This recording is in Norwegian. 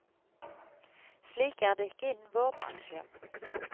Slik er det ikke innen vår bransje.